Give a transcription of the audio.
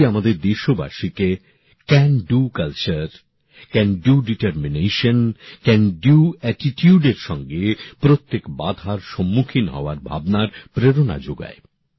এটি আমাদের দেশবাসীকে can do culture can do determination can do attitude এর সঙ্গে প্রত্যেক বাধার সম্মুখীন হওয়ার ভাবনার প্রেরণা যোগায়